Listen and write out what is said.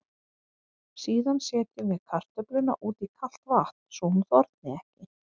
Síðan setjum við kartöfluna út í kalt vatn svo hún þorni ekki.